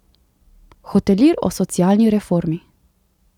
Hotelir o socialni reformi.